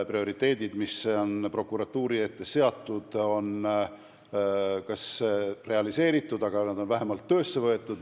Prioriteedid, mis on prokuratuuri ette seatud, on kas just realiseeritud, aga vähemalt töösse võetud.